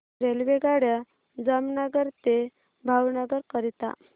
रेल्वेगाड्या जामनगर ते भावनगर करीता